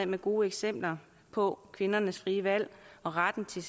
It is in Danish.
med gode eksempler på at kvinderne har frie valg og ret til